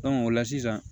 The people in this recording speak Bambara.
o la sisan